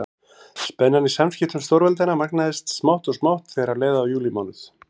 Spennan í samskiptum stórveldanna magnaðist smátt og smátt þegar leið á júlímánuð.